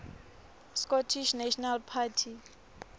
scottish national party